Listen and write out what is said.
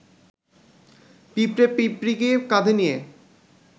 পিঁপড়ে পিঁপড়ীকে কাঁধে নিয়ে